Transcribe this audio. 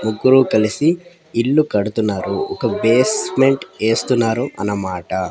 ముగ్గురు కలిసి ఇల్లు కడుతున్నారు ఒక బేస్మెంట్ ఎస్తున్నారు అన్నమాట.